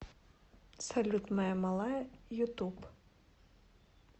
салют моя малая ютуб